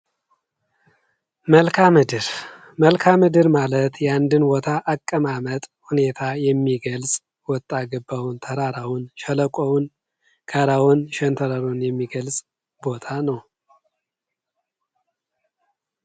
መልካምድር ፦ መልካ ምድር ማለት የአንድን ቦታ አቀማመጥ ሁኔታ የሚገልጽ ወጣ ገባውን ፣ ተራራውን ፣ሸለቆን ፣ ጋራውን ፣ ሸንተራሩን የሚገልጽ ቦታ ነው ።